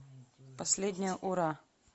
последнее ура